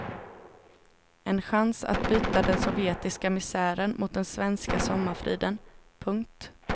En chans att byta den sovjetiska misären mot den svenska sommarfriden. punkt